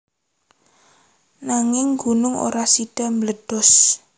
Nanging gunung ora sida mbledos